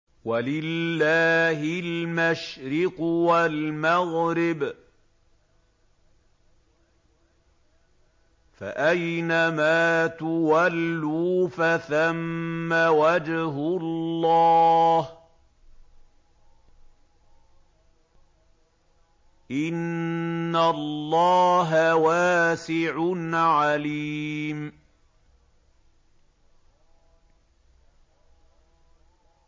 وَلِلَّهِ الْمَشْرِقُ وَالْمَغْرِبُ ۚ فَأَيْنَمَا تُوَلُّوا فَثَمَّ وَجْهُ اللَّهِ ۚ إِنَّ اللَّهَ وَاسِعٌ عَلِيمٌ